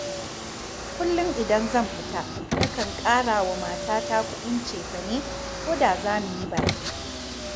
Kullum idan zan fita, nakan ƙara wa matata kuɗin cefane ko da za mu yi baƙi